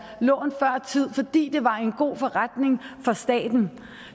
lån før tid fordi det var en god forretning for staten